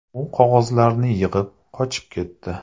U qog‘ozlarni yig‘ib, qochib ketdi.